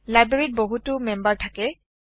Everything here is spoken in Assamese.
লাইব্ৰেৰীত বহুতো মেম্বাৰ থাকে